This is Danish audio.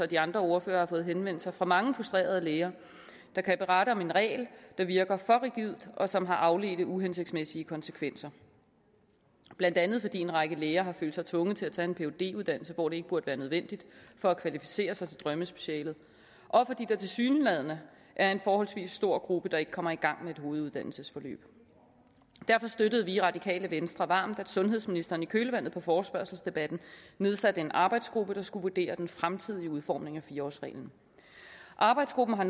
de andre ordførere har fået henvendelser fra mange frustrerede læger der kan berette om en regel der virker for rigid og som har afledte uhensigtsmæssige konsekvenser blandt andet fordi en række læger har følt sig tvunget til at tage en phd uddannelse hvor det ikke burde være nødvendigt for at kvalificere sig til drømmespecialet og fordi der tilsyneladende er en forholdsvis stor gruppe der ikke kommer i gang med et hoveduddannelsesforløb derfor støttede vi i radikale venstre varmt at sundhedsministeren i kølvandet på forespørgselsdebatten nedsatte en arbejdsgruppe der skulle vurdere den fremtidige udformning af fire årsreglen arbejdsgruppen har